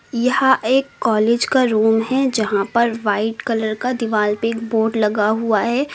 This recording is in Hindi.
यह एक कॉलेज का रूम है यहां पर व्हाइट कलर का दीवाल पे एक बोर्ड लगा हुआ है।